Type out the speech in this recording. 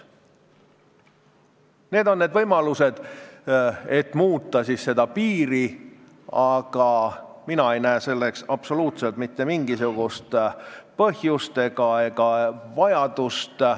Need on need võimalused, et muuta seda piiri, aga mina ei näe selleks absoluutselt mitte mingisugust põhjust ega vajadust.